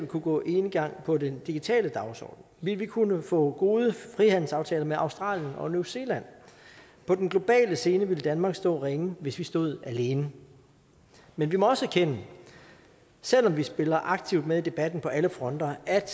kunne gå enegang på den digitale dagsorden ville vi kunne få gode frihandelsaftaler med australien og new zealand på den globale scene ville danmark stå ringe hvis vi stod alene men vi må også erkende selv om vi spiller aktivt med i debatten på alle fronter at